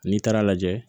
N'i taara lajɛ